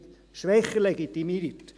schwächer legitimiert.